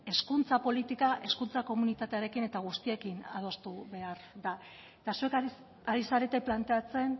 hezkuntza politika hezkuntza komunitatearekin eta guztiarekin adostu behar da eta zuek ari zarete planteatzen